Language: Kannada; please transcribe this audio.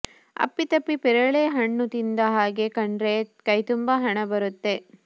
ಅಪ್ಪಿ ತಪ್ಪಿ ಪೇರಲೆ ಹಣ್ಣು ತಿಂದ ಹಾಗೆ ಕಂಡ್ರೆ ಕೈತುಂಬ ಹಣ ಬರುತ್ತೆ